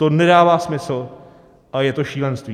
To nedává smysl a je to šílenství!